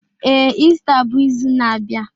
Ee, Ista bụ izu na-abịa